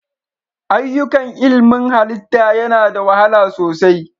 Ayyukan ilmin halitta yana da wahala sosai.